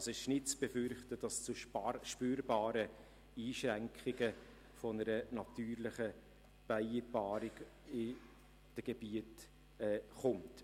Es ist also nicht zu befürchten, dass es zu spürbaren Einschränkungen einer natürlichen Bienenpaarung in den Gebieten kommt.